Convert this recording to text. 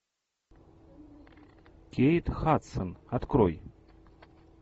кейт хадсон открой